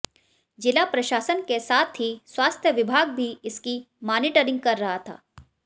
जिला प्रशासन के साथ ही स्वास्थ्य विभाग भी इसकी मानीटरिंग कर रहा था